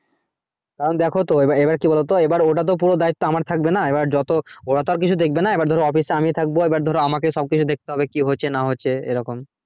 কারণ দ্যাখো তো এবার এবার কি বলতো এবার ওটা তো পুরো আমার দায়িত্ব থাকবে না এবার যত ওরা তো আর কিছু দেখবে না এবার ধরো office এ আমি থাকবো এবার ধরো আমাকেই সব কিছু দেখতে হবে কি হচ্ছে না হচ্ছে এরকম